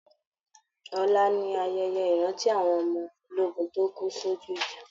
Ọla ni ayẹyẹ ìrántí àwọn ọmọ ológun tó kú sojú ìjà